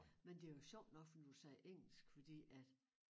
Men det jo sjovt nok for nu du siger engelsk fordi at